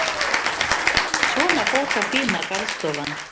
Svona fór þá fína garðstofan.